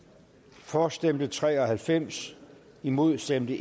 for stemte tre og halvfems imod stemte